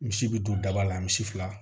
Misi bɛ don daba la misi fila